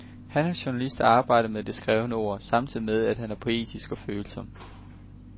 Han er journalist og arbejder med det skrevne ord, samtidig med, at han er poetisk og følsom.